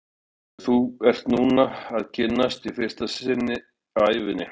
Það er hún sem þú ert núna að kynnast í fyrsta sinn á ævinni.